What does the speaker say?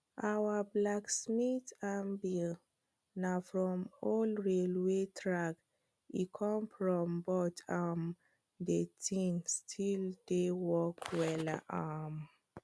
our blacksmith anvil na from old railway track e come from but um de thing still dey work wella um